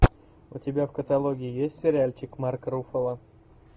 у тебя в каталоге есть сериальчик марк руффало